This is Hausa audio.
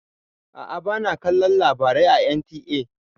A'a ba na kalon labarai à NTA.